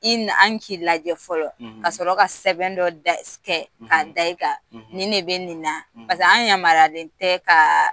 I nan an k'i lajɛ fɔlɔ; Ka sɔrɔ ka sɛbɛn dɔ' da ka d'i ka ni ne bɛ nin na paseke an yamaralen tɛ kaaa